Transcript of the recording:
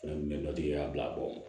Fana kun bɛ dɔtigiya bila bɔ